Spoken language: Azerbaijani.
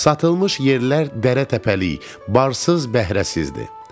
Satılmış yerlər dərə-təpəlik, barsız-bəhrəsizdi.